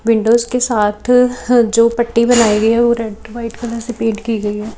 Windows के साथ ह जो पट्टी बनाई गई है वो रेड व्हाइट कलर से पेंट की गई है।